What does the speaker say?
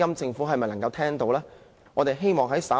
政府有否聽到市民的聲音呢？